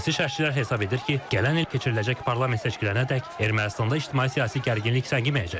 Siyasi şərhçilər hesab edir ki, gələn il keçiriləcək parlament seçkilərinədək Ermənistanda ictimai-siyasi gərginlik səngiməyəcək.